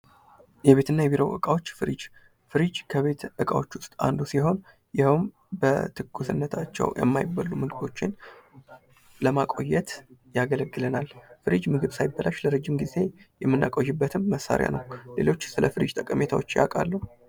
የቤት እና የቢሮ እቃዎች ፍሪጅ ፍሪጅ ከቤት እቃዎች ዉስጥ አንዱ ሲሆን ይሀውም በትኩስነታቸው የማይበሉ ምግቦችን ለማቆየት ያገለግለናል። ፍሪጅ ምግብ ሳይበላሽ ለረጅም ጊዜ የምናቆይበትም መሳሪያ ነው። ሌሎች ስለፍሪጅ ጠቀሜታዎች ያውቃሉ?